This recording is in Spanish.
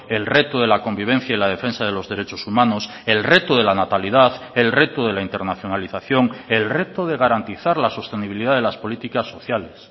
el reto de la convivencia y la defensa de los derechos humanos el reto de la natalidad el reto de la internacionalización el reto de garantizar la sostenibilidad de las políticas sociales